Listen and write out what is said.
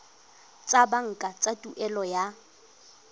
tsa banka tsa tuelo ya